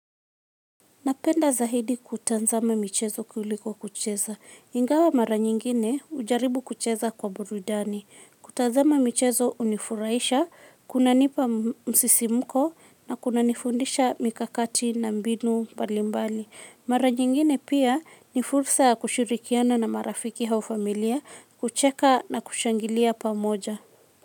Napenda zaidi kutazama michezo kuliko kucheza. Ingawa mara nyingine hujaribu kucheza kwa burudani. Kutazama michezo hunifurahisha, kunanipa msisimuko na kunanifundisha mikakati na mbinu mbalimbali. Mara nyingine pia ni fursa kushirikiana na marafiki au familia, kucheka na kushangilia pamoja.